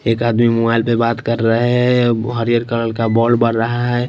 एक आदमी मोबाइल पे बात कर रहा है हरियर कलर का बोल रहा है।